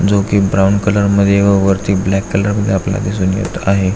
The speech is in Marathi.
जो की ब्राऊन कलर मध्ये व वरती ब्लॅक कलर मध्ये आपल्याला दिसून येत आहे.